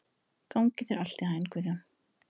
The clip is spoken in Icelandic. Gangi þér allt í haginn, Guðjón.